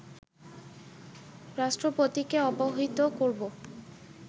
রাষ্ট্রপতিকে অবহিত করব